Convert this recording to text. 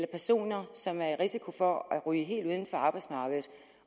personer som er i risiko for at ryge helt uden for arbejdsmarkedet